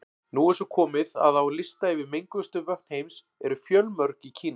Nú er svo komið að á lista yfir menguðustu vötn heims eru fjölmörg í Kína.